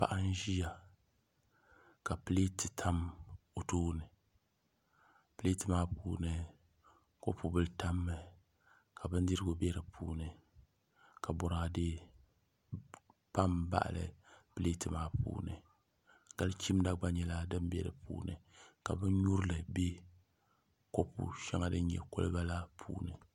paɣa n-ʒia ka pileeti tam o tooni pileeti maa puuni kopubila tam mi ka bindirigu be di puuni ka bɔraade pa m-baɣili pileeti maa puuni gal' chimda gba nyɛla din be di puuni ka binnyurili be kopu shaŋa din nye koliba la puuni